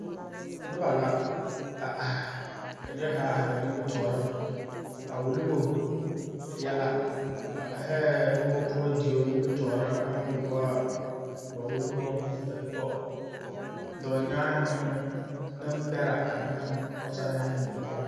Nobɔ la a aihi ka nie kaŋ are ba nimitooreŋ a wullobo yɛlɛ ba aihɛɛ moɔ poɔ deo nimitooreŋ aŋ wulle wɔɔ ba wulle baŋ history tɔ dɔɔnyanhi ne neŋbɛrɛ aneŋ pɔɔsarehi neŋ bipɔlihi.